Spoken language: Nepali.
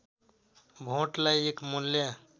भोटलाई एक मूल्य